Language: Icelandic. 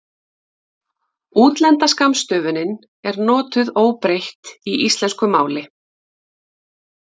Útlenda skammstöfunin er notuð óbreytt í íslensku máli.